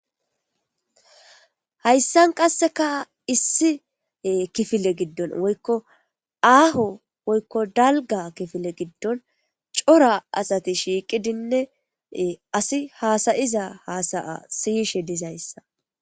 Hayssan qasseka issi kifile giddon woykko aaho woykko dalga kifile giddon cora asati shiiqidinne asi haasayiza haasaya siyishe dizayssa.